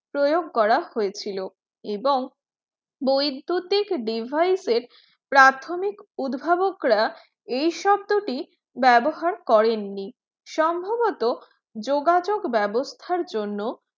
প্রয়োগ করা হয়েছিল এবং বৈদ্যুতিক device প্রাথমিক উদ্ভাবকরা এই শব্দটি ব্যবহার করেননি সম্ভবত যোগাযোগ ব্যবস্থার জন্য